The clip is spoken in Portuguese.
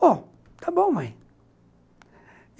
Bom, está bom, mãe.